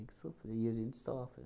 que sofrer. E a gente sofre.